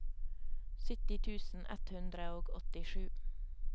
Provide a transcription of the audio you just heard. sytti tusen ett hundre og åttisju